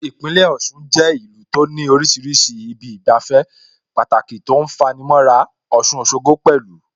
Ìpínlẹ̀ Ọ̀ṣun jẹ́ ìlú tó ní oríṣiríṣi ibi ìgbafẹ́ Pàtàki tó ń fani mọ́ra, Ọ̀ṣun Òṣogbo pẹ̀lú